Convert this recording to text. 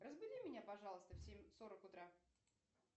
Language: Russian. разбуди меня пожалуйста в семь сорок утра